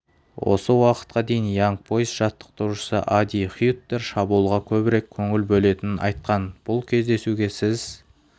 осы уақытқа дейін янг бойз жаттықтырушысы ади хюттер шабуылға көбірек көңіл бөлетінін айтқан бұл кездесуге сіз